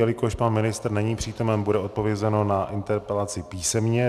Jelikož pan ministr není přítomen, bude odpovězeno na interpelaci písemně.